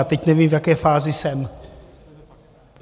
A teď nevím, v jaké fázi jsem.